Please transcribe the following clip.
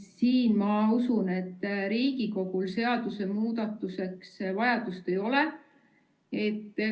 Ma usun, et Riigikogul seaduse muudatusteks vajadust ei ole.